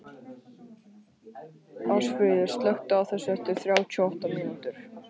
Ásfríður, slökktu á þessu eftir þrjátíu og átta mínútur.